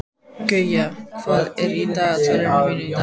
Guja, hvað er í dagatalinu mínu í dag?